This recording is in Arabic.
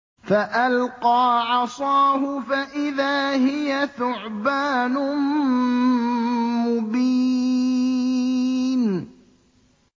فَأَلْقَىٰ عَصَاهُ فَإِذَا هِيَ ثُعْبَانٌ مُّبِينٌ